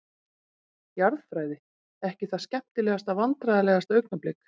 Jarðfræði, ekki það skemmtilegasta Vandræðalegasta augnablik?